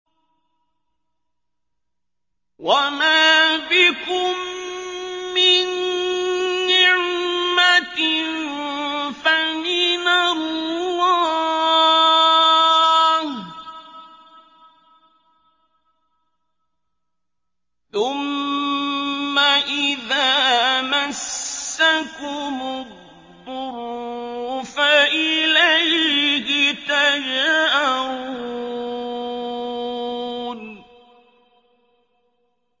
وَمَا بِكُم مِّن نِّعْمَةٍ فَمِنَ اللَّهِ ۖ ثُمَّ إِذَا مَسَّكُمُ الضُّرُّ فَإِلَيْهِ تَجْأَرُونَ